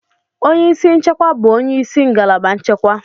Onye isi nchekwa bụ onye isi ngalaba nchekwa.